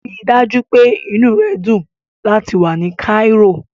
Rí i dájú pé inú rẹ dùn láti wà ní Cairo.